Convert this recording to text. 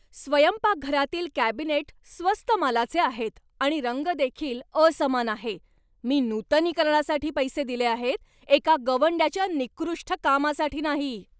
स्वयंपाकघरातील कॅबिनेट स्वस्त मालाचे आहेत आणि रंग देखील असमान आहे. मी नूतनीकरणासाठी पैसे दिले आहेत, एका गवंड्याच्या निकृष्ट कामासाठी नाही!